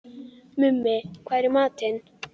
Mummi, hvað er í matinn?